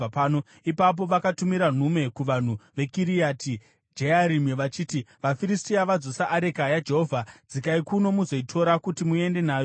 Ipapo vakatumira nhume kuvanhu veKiriati Jearimi vachiti, “VaFiristia vadzosa areka yaJehovha. Dzikai kuno muzoitora kuti muende nayo kwenyu.”